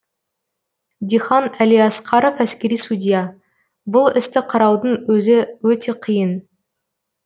дихан әлиасқаров әскери судья бұл істі қараудың өзі өте қиын